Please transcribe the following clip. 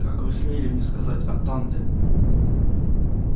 как вы смели мне сказать атанде